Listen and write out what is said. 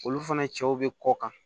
Olu fana cɛw bɛ kɔ kan